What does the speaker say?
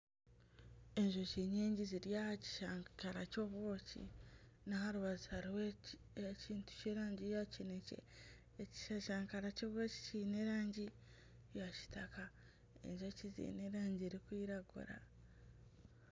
Enjoki nyingi ziri aha kishashara ky'obwoki n'aharubaju hariho ekintu Ky'erangi ya kinekye. Ekishashara ky'obwoki Kiine erangi ya Kitaka Enjoki ziine erangi erikwiragura.